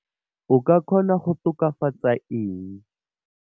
O ka kgona go tokafatsa eng?